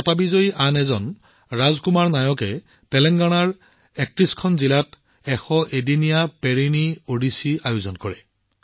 বঁটাবিজয়ী আন এজন ৰাজ কুমাৰ নায়কজীয়ে তেলেংগানাৰ ৩১ খন জিলাত ১০১ দিন ধৰি চলি থকা পেৰিনি ওডিচী আয়োজন কৰে